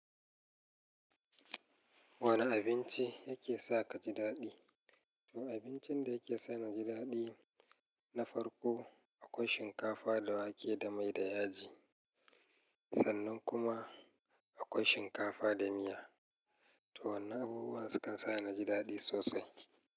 Wane abinci yake sa ka ji daɗi? To abincin da yake sa na ji daɗi na farko akwai shinkafa da wake da mai da yaji sannan kuma akwai shinkafa da miya. To wannan abubuwan su kan sa ni ji daɗi sosai.